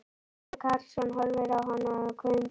Sæmundur Karlsson horfir á hann hvumsa.